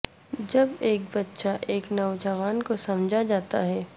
جب ایک بچہ ایک نوجوان کو سمجھا جاتا ہے